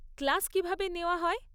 Class কীভাবে নেওয়া হয়?